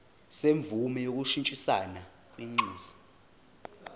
semvume yokushintshisana kwinxusa